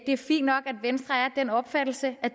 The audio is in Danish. er fint nok at venstre er af den opfattelse at